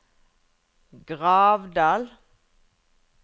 Gravdal